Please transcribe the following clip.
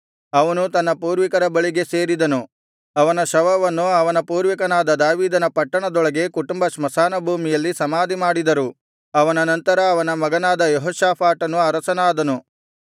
ಅವನು ತನ್ನ ಪೂರ್ವಿಕರ ಬಳಿಗೆ ಸೇರಿದನು ಅವನ ಶವವನ್ನು ಅವನ ಪೂರ್ವಿಕನಾದ ದಾವೀದನ ಪಟ್ಟಣದೊಳಗೆ ಕುಟುಂಬ ಸ್ಮಶಾನಭೂಮಿಯಲ್ಲಿ ಸಮಾಧಿಮಾಡಿದರು ಅವನ ನಂತರ ಅವನ ಮಗನಾದ ಯೆಹೋಷಾಫಾಟನು ಅರಸನಾದನು